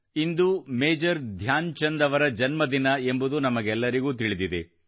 ಇಂದು Major Dhyan Chand ಅವರ ಜನ್ಮ ದಿನ ಎಂಬುದು ನಮಗೆಲ್ಲರಿಗೂ ತಿಳಿದಿದೆ